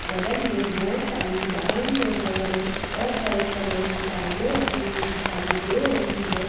बगल में बहुत सारी ब्राउन और रेड और ऑफ व्हाइट कलर की टाइलें लगी हुई दिखाई दे रही है।